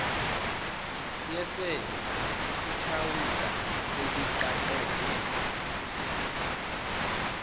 yesele ithawula seliqaqeke